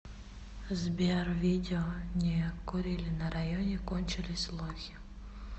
сбер видео не курили на районе кончились лохи